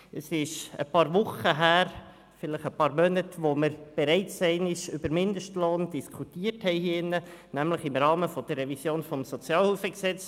Es ist ein paar Wochen her, vielleicht ein paar Monate, als wir hier drin bereits einmal über den Mindestlohn diskutiert haben, nämlich im Rahmen der Revision des SHG.